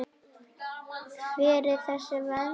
Hver er þessi vernd?